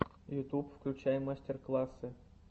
ютуб включай мастер классы